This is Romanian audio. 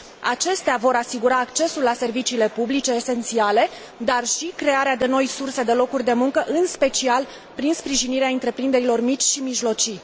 Acestea vor asigura accesul la serviciile publice esențiale, dar și crearea de noi surse de locuri de muncă, în special prin sprijinirea întreprinderilor mici și mijlocii.